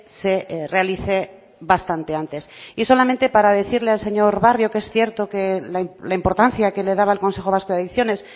se realice bastante antes y solamente para decirle al señor barrio que es cierto que la importancia que le daba al consejo vasco de adicciones